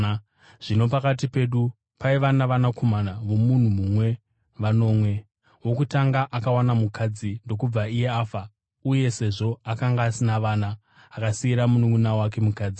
Zvino pakati pedu paiva navanakomana vomunhu mumwe vanomwe. Wokutanga akawana mukadzi ndokubva iye afa, uye sezvo akanga asina vana, akasiyira mununʼuna wake mukadzi.